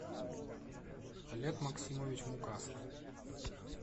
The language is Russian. олег максимович мукасов